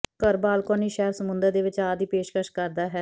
ਘਰ ਬਾਲਕੋਨੀ ਸ਼ਹਿਰ ਸਮੁੰਦਰ ਦੇ ਵਿਚਾਰ ਦੀ ਪੇਸ਼ਕਸ਼ ਕਰਦਾ ਹੈ